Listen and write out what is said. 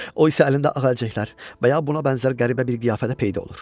O isə əlində ağacəklər və ya buna bənzər qəribə bir qiyafədə peyda olur.